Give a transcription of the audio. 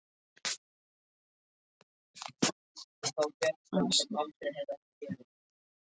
Magda byrjaði alltaf að þvo um tíuleytið á